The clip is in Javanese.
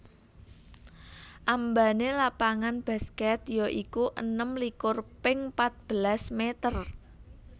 Ambané lapangan baskèt ya iku enem likur ping patbelas mèter